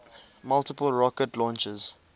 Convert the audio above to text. multiple rocket launchers